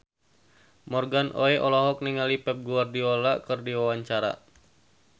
Morgan Oey olohok ningali Pep Guardiola keur diwawancara